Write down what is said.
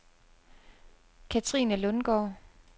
Kathrine Lundgaard